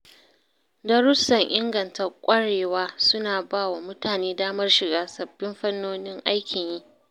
Darussan inganta ƙwarewa suna ba wa mutane damar shiga sabbin fannonin aikin yi.